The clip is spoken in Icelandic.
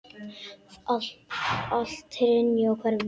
Að allt hrynji og hverfi.